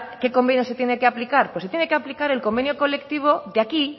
qué convenio se tiene que aplicar pues se tiene que aplicar el convenio colectivo de aquí